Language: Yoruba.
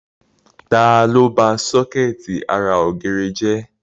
Ta ló ba sọ́kẹ̀tì ara ògiri jẹ?